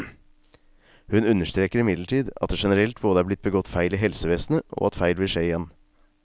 Hun understreker imidlertid at det generelt både er blitt begått feil i helsevesenet, og at feil vil skje igjen.